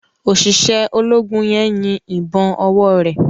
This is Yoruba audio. Oṣiṣẹ ológun yén yín ìbọn owore.